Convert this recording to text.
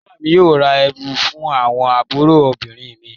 Ìyá mi yóò ra ẹ̀wù fún àwọn àbúrò obìnrin mi.